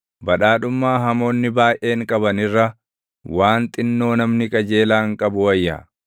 Badhaadhummaa hamoonni baayʼeen qaban irra, waan xinnoo namni qajeelaan qabu wayya;